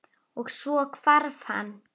Og- svo hvarf hann.